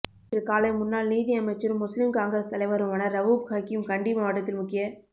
இன்று காலை முன்னால் நீதி அமைச்சரும் முஸ்லிம் காங்கிரஸ் தலைவருமான ரவூப் ஹக்கீம் கண்டி மாவட்டத்தில் முக்கிய